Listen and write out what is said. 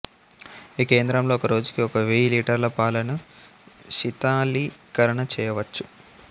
ఈ కేంద్రంలో ఒక రోజుకి ఒక వేయి లీటర్ల పాలను శీతలీకరణ చేయవచ్చు